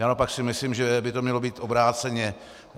Já naopak si myslím, že by to mělo být obráceně.